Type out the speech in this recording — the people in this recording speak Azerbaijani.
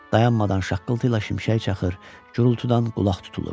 Dayanmadan şaqqıltı ilə şimşək çaxır, gurultudan qulaq tutulurdu.